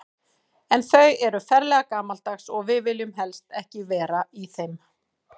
En þau eru ferlega gamaldags og við viljum helst ekki vera í þeim.